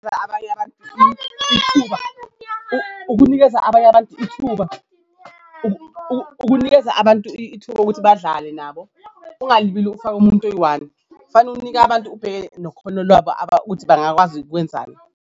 Abanye abantu ithuba ukunikeza abanye abantu ithuba ukunikeza abantu ithuba ukuthi badlale nabo ungalibeli ufaka umuntu oyi-one kufane unike abantu ubheke nokhono labo ukuthi bangakwazi ukwenzani.